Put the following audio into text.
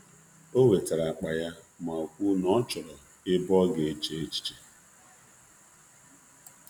O wetara akpa ya ma kwuo na ọ chọrọ ebe ọ ga eche echiche.